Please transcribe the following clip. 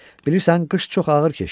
Bilirsən, qış çox ağır keçdi.